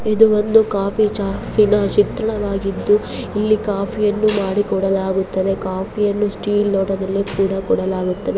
ಇದು ಒಂದು ಕಾಫಿ ಶಾಪಿ ನ ಚಿತ್ರಣವಾಗಿದ್ದು ಇಲ್ಲಿ ಕಾಫಿ ಯನ್ನು ಮಾಡಿಕೊಡಲಾಗುತ್ತದೆ ಕಾಫಿ ಅನ್ನು ಸ್ಟೀಲ್ ಲೋಟದಲ್ಲಿ ಕೂಡ ಕೊಡಲಾಗುತ್ತದೆ.